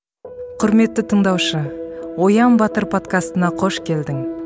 құрметті тыңдаушы оян батыр подкастына қош келдің